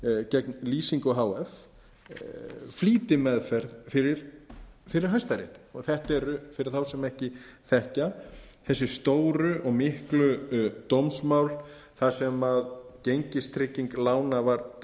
gegn lýsingu h f flýtimeðferð fyrir hæstarétti og þetta er fyrir þá sem ekki þekkja þessi stóru og miklu dómsmál þar sem gengistrygging lána var dæmd